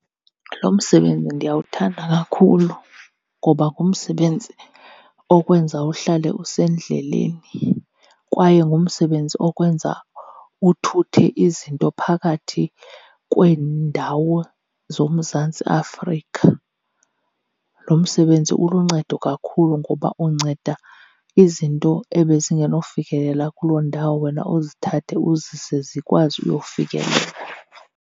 Lo msebenzi ndiyawuthanda kakhulu ngoba ngumsebenzi okwenza uhlale usendleleni kwaye ngumsebenzi okwenza uthuthe izinto phakathi kweendawo zoMzantsi Afrika. Lo msebenzi uluncedo kakhulu, ngoba unceda izinto ebezingenofikelela kuloo ndawo wena uzithathe uzise zikwazi uyofikelela.